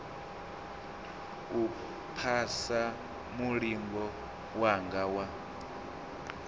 u phasa mulingo wanga wa